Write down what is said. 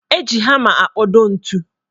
Eji hama akpodo ntu